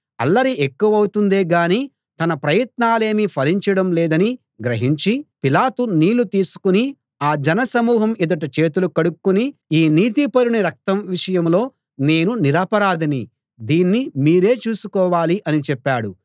అల్లరి ఎక్కువౌతుందే గాని తన ప్రయత్నాలేమీ ఫలించడం లేదని గ్రహించి పిలాతు నీళ్ళు తీసుకుని ఆ జనసమూహం ఎదుట చేతులు కడుక్కుని ఈ నీతిపరుని రక్తం విషయంలో నేను నిరపరాధిని దీన్ని మీరే చూసుకోవాలి అని చెప్పాడు